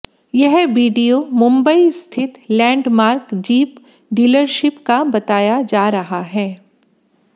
यह वीडियो मुंबई स्थित Landmark Jeep dealership का बताया जा रहा है